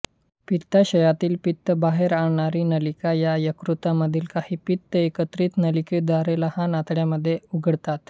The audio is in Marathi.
पित्ताशयातील पित्त बाहेर आणणारी नलिका आणि यकृतामधील काहीं पित्त एका एकत्रित नलिकेद्वारे लहान आतड्यामध्ये उघडतात